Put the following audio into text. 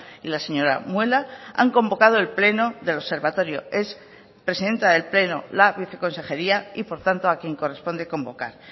y la señora muela han convocado el pleno del observatorio es presidenta del pleno la viceconsejería y por tanto a quien corresponde convocar